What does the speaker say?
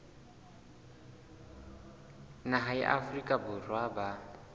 naha ya afrika borwa ba